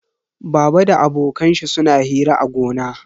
Baba da abokan shi suna hira a gona.